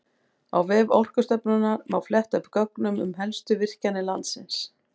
Á vef Orkustofnunar má fletta upp gögnum um helstu virkjanir landsins.